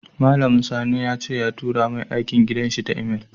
Mallamun sani yace ya tura mai aikin gidan shi ta Email